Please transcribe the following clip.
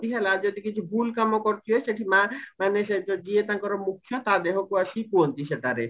ହେଲା ଯଦି କିଛି ଭୁଲ କାମ କରିଥିବେ ସେଠି ମା ମାନେ ସହିତ ଯିଏ ତାଙ୍କର ମୁଖିଆ ତା ଦେହକୁ ଆସିକି କୁହନ୍ତି ସେଟାରେ